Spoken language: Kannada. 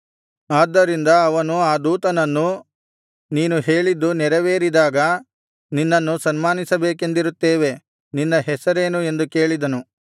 ಆದ್ದರಿಂದ ಅವನು ಆ ದೂತನನ್ನು ನೀನು ಹೇಳಿದ್ದು ನೆರವೇರಿದಾಗ ನಿನ್ನನ್ನು ಸನ್ಮಾನಿಸಬೇಕೆಂದಿರುತ್ತೇವೆ ನಿನ್ನ ಹೆಸರೇನು ಎಂದು ಕೇಳಿದನು